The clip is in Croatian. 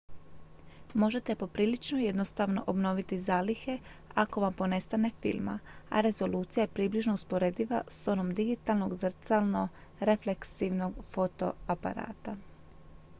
možete poprilično jednostavno obnoviti zalihe ako vam ponestane filma a rezolucija je približno usporediva s onom digitalnog zrcalno-refleksivnog fotoaparata